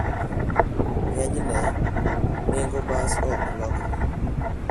Ng'enyne, nengo bas ok lokre.